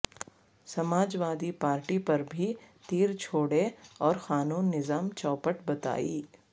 سماج وادی پارٹی پر بھی تیر چھوڑے اور قانون نظام چوپٹ بتائی